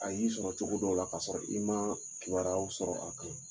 A y'i sɔrɔ cogo dɔw la kaa sɔrɔ i ma kibaraw sɔrɔ a kan